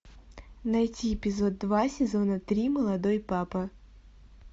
найти эпизод два сезона три молодой папа